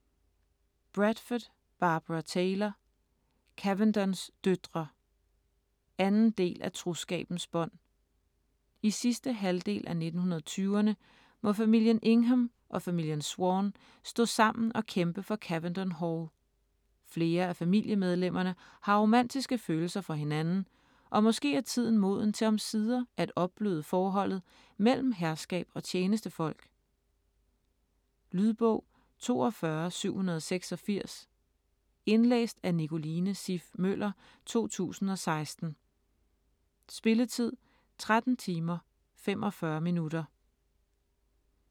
Bradford, Barbara Taylor: Cavendons døtre 2. del af Troskabens bånd. I sidste halvdel af 1920'erne må familien Ingham og familien Swann stå sammen og kæmpe for Cavendon Hall. Flere af familiemedlemmerne har romantiske følelser for hinanden, og måske er tiden moden til omsider at opbløde forholdet mellem herskab og tjenestefolk? Lydbog 42786 Indlæst af Nicoline Siff Møller, 2016. Spilletid: 13 timer, 45 minutter.